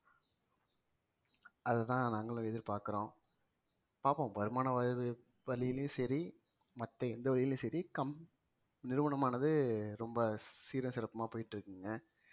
அதுதான் நாங்களும் எதிர்பார்க்கிறோம் பார்ப்போம் வருமான வழியிலும் சரி மத்த எந்த வழியிலும் சரி come நிறுவனமானது ரொம்ப சீரும் சிறப்புமா போயிட்டு இருக்குங்க